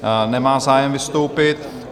Nemá zájem vystoupit.